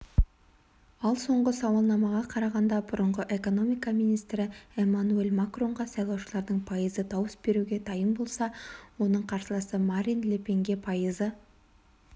ал соңғы сауалнамаға қарағанда бұрынғы экономика министрі эммануэль макронға сайлаушылардың пайызы дауыс беруге дайын болса оның қарсыласы марин ле пенге пайызы